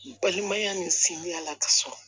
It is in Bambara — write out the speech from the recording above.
Balimaya ni sinjiya la ka sɔrɔ